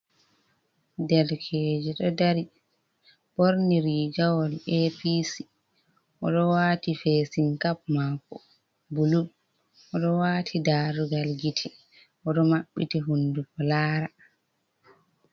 Derkeje ɗo dari ɓorni rigawol Apc, oɗo wati fesinkap mako bulu, oɗo wati darugal gite, oɗo maɓɓiti hunduko lara.